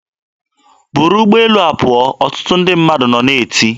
"Buru ụgbọelu a pụọ!" ọtụtụ ndị mmadụ nọ na-eti.